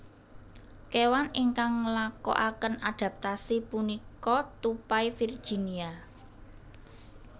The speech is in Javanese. Kewan ingkang ngelakoaken adaptasi punika tupai Virginia